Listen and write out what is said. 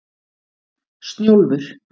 Snjólfur